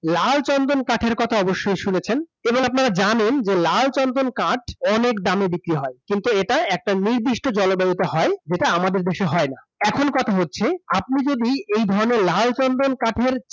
লাল চন্দন কাঠের কথা অবশ্যই শুনেছেন এবং আপনারা জানেন যে লাল চন্দন কাঠ, অনেক দামে বিক্রি হয়। কিন্তু এটা একটা নির্দিষ্ট যেটা আমাদের দেশে হয় না । এখন কথা হচ্ছে, আপনি যদি এই ধরণের লাল চন্দন কাঠের